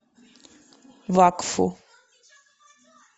вакфу